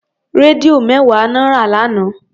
Rédíò mẹ́wàá lọ rà lánàá.